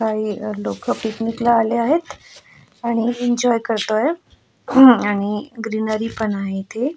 आणि लोक पिकनिकला आले आहेत आणि इंजॉय करतो आहे आणि ग्रीनरीपण आहे इथे --